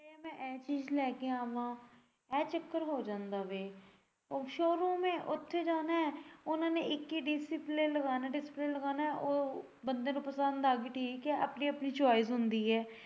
ਮੈਂ ਐ ਚੀਜ ਲੈ ਕੇ ਆਵਾ ਐ ਚੱਕਰ ਹੋ ਜਾਂਦਾ ਵੇ ਉਹ showroom ਐਂ ਉੱਥੇ ਜਾਣਾ ਐ ਉਨਾਂ ਨੇ ਇੱਕ ਹੀ display ਲਗਾਣਾ display ਲਗਾਣਾ ਔਰ ਬੰਦੇ ਨੂੰ ਪਸੰਦ ਆਗੀ ਠੀਕ ਐ ਬੰਦੇ ਦੀ ਆਪਣੀ ਆਪਣੀ choice ਹੁੰਦੀ ਐ।